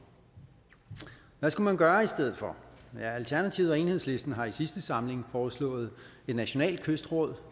hvad skal man gøre i stedet for alternativet og enhedslisten har i sidste samling foreslået et nationalt kystråd